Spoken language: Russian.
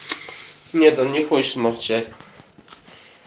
нет он не хочет молчать